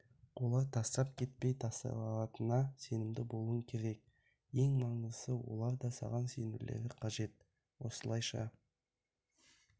олар тастап кетпей тасалайтынына сенімді болуың керек ең маңыздысы олар да саған сенулері қажет осылайша